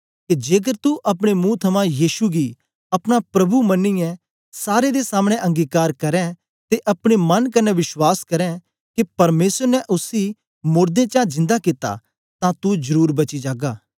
के जेकर तू अपने मुंह थमां यीशु गी अपना प्रभु मन्नीयै सारे दे सामने अंगीकार करें ते अपने मन कन्ने विश्वास करें के परमेसर ने उसी मोड़दें चा जिन्दा कित्ता तां तू जरुर बची जागा